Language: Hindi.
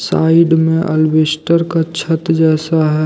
साइड में अलबेस्टर का छत जैसा ह--